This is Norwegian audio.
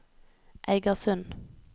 Eigersund